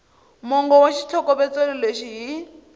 mongo wa xitlhokovetselo lexi hi